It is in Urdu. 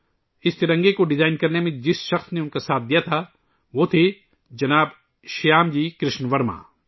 اس ترنگے کو ڈیزائن کرنے میں ، جس شخص نے ان کا ساتھ دیا تھا ، وہ تھے شری شیام جی کرشن ورما